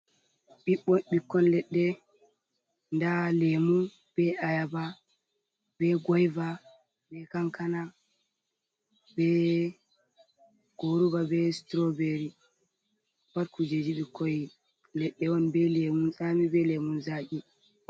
Ɓiɓbo ɓikkon leɗɗe nda lemu be ayaba, be goyva, be kankana, be goruva, be strawbery pat kujeji ɓikoi leɗɗe on be lemu sami be lemum zaki.